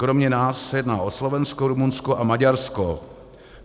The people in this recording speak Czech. Kromě nás se jedná o Slovensko, Rumunsko a Maďarsko.